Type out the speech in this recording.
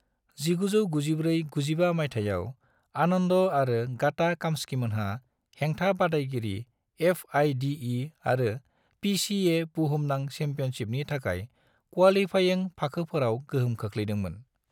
1994-95 माइथायाव, आनन्द आरो गाटा काम्स्कीमोनहा हेंथा बादायगिरि एफ.आइ.डि.इ. आरो पि.सि.ए. बुहुमनां चेम्पियनशिपनि थाखाय क्वालीफायिं फाखोफोराव गोहोम खोख्लैदोंमोन।